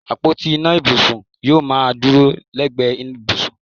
Àpótí ìná ibùsùn yóò máa dúró lẹ́gbẹ̀ẹ́ ibùsùn